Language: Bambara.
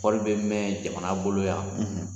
Wari in bɛ mɛn jamana bolo yan.